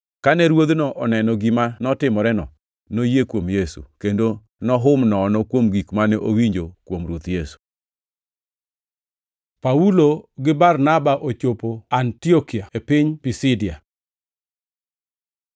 Kane ruodhno oneno gima notimoreno, noyie kuom Yesu, kendo nohum nono kuom gik mane owinjo kuom Ruoth Yesu. Paulo gi Barnaba ochopo Antiokia e piny Pisidia